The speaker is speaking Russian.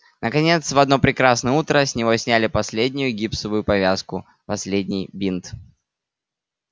наконец в одно прекрасное утро с него сняли последнюю гипсовую повязку последний бинт